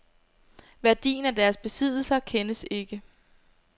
Værdien af deres besiddelser kendes ikke.